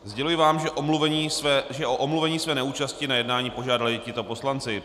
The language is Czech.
Sděluji vám, že o omluvení své neúčasti na jednání požádali tito poslanci.